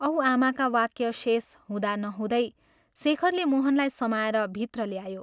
" औ आमाका वाक्य शेष हुँदा नहुँदै शेखरले मोहनलाई समाएर भित्र ल्यायो।